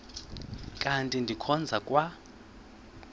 kanti ndikhonza kwa